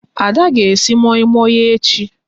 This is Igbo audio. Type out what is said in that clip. Ada ga esi moi moi echi